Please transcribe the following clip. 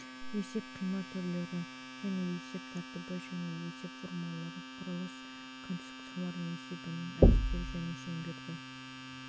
есеп қима түрлері және есеп тәртібі және есеп формулалары құрылыс конструкциялары есебінің әдістері және шеңберді